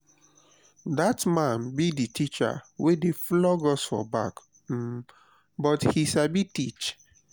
dat man be the teacher wey dey flog us for back um but he sabi teach